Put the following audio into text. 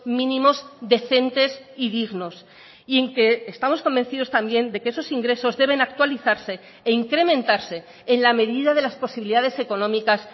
mínimos decentes y dignos y en que estamos convencidos también de que esos ingresos deben actualizarse e incrementarse en la medida de las posibilidades económicas